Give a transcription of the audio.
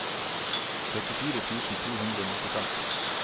trettifire tusen to hundre og nittifem